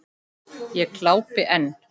Ég glápi enn.